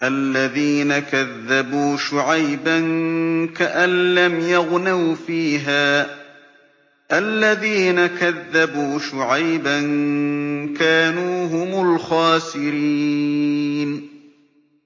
الَّذِينَ كَذَّبُوا شُعَيْبًا كَأَن لَّمْ يَغْنَوْا فِيهَا ۚ الَّذِينَ كَذَّبُوا شُعَيْبًا كَانُوا هُمُ الْخَاسِرِينَ